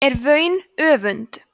er vaun öfund